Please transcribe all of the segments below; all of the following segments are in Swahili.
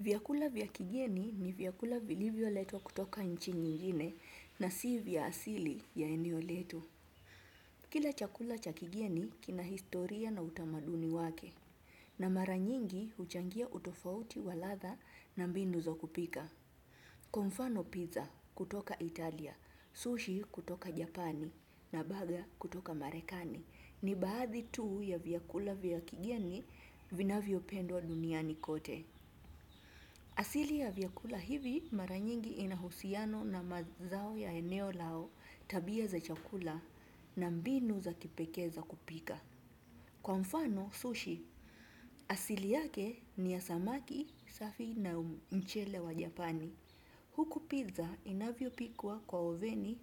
Vyakula vya kigeni ni vyakula vilivyoletwa kutoka nchi nyingine na si vya asili ya eneo letu. Kila chakula cha kigeni kina historia na utamaduni wake. Na mara nyingi huchangia utofauti wa ladha na mbinu za kupika. Kwa mfano piza kutoka Italia, sushi kutoka Japani na baga kutoka Marekani ni baadhi tu ya vyakula vya kigeni vinavyopendwa duniani kote. Asili ya vyakula hivi mara nyingi inahusiano na mazao ya eneo lao tabia za chakula na mbinu za kipekee za kupika. Kwa mfano sushi, asili yake ni ya samaki safi na mchele wa japani. Huku piza inavyopikwa kwa oveni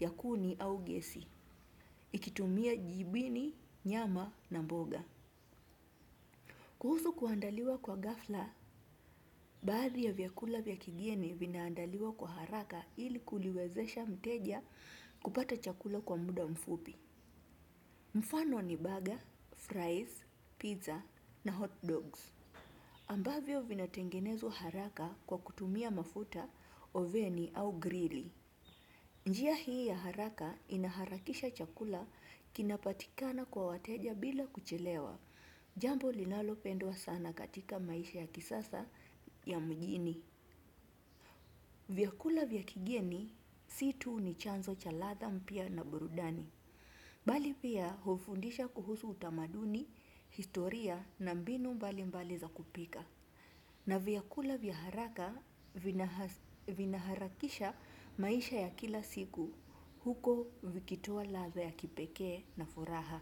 ya kuni au gesi. Ikitumia jibini, nyama na mboga. Kuhusu kuandaliwa kwa ghafla, baadhi ya vyakula vya kigeni vinaandaliwa kwa haraka ili kuliwezesha mteja kupata chakula kwa muda mfupi. Mfano ni baga, fries, piza na hot dogs. Ambavyo vinatengenezwa haraka kwa kutumia mafuta, oveni au grili. Njia hii ya haraka inaharakisha chakula kinapatikana kwa wateja bila kuchelewa. Jambo linalopendwa sana katika maisha ya kisasa ya mjini. Vyakula vya kigeni si tu ni chanzo cha ladha mpya na burudani. Bali pia hufundisha kuhusu utamaduni, historia na mbinu mbalimbali za kupika. Na vyakula vya haraka vinaharakisha maisha ya kila siku huku vikitoa ladha ya kipekee na furaha.